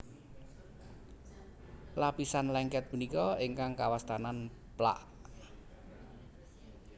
Lapisan lengket punika ingkang kawastanan plak